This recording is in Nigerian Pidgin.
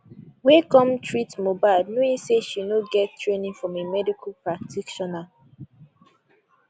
wey come treat mohbad knowing say she no get training from a medical practitioner